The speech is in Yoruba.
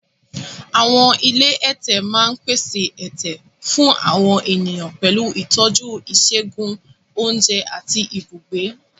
Àwọn ilé ẹ̀tẹ̀ máa ń pèsè ẹ̀tẹ̀ fún àwọn ènìyàn pẹ̀lú ìtọ́jú ìṣègùn, oúnjẹ, àti ibùgbé.